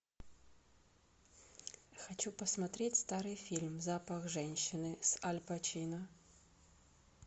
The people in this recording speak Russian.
хочу посмотреть старый фильм запах женщины с аль пачино